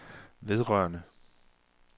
vedrørende